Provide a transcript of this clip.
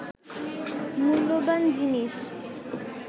মূল্যবান জিনিস